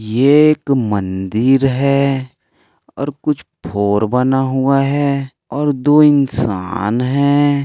ये एक मंदिर है और कुछ फोर बना हुआ है और दो इंसान है।